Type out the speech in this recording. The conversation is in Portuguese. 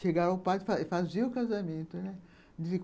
Chegou ao padre e fazia o casamento, né.